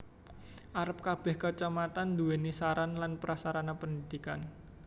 Arep kebeh Kacamatan duwéni sarana lan prasarana pendidikan